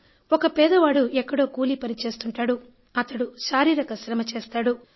ఒక పేదవాడు ఎక్కడో కూలి పని చేసుకుంటాడు అతడు శారీరక శ్రమ చేస్తాడు